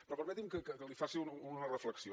però permeti’m que li faci una reflexió